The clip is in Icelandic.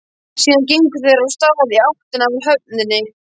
Síðan gengu þeir af stað í áttina að höfninni.